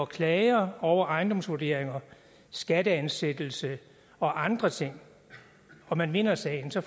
klager over ejendomsvurderinger skatteansættelser og andre ting og man vinder sagen så